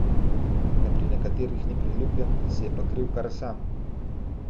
Da pri nekaterih ni priljubljen, si je pa kriv kar sam.